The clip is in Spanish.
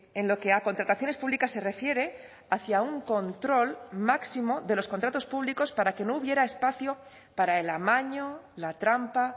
en lo que a contrataciones públicas se refiere hacia un control máximo de los contratos públicos para que no hubiera espacio para el amaño la trampa